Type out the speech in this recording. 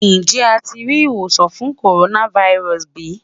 Njẹ a ti ri iwosan fun coronavirus bi?